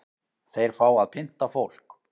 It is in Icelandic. Þeir fá að pynta fólk